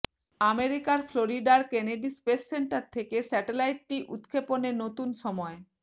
আমেরিকার ফ্লোরিডার Kennedy space centre থেকে স্যাটেলাইটটি উৎক্ষেপণের নতুন সময়